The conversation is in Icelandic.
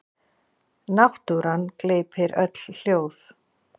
Náttúran gleypir öll hljóð.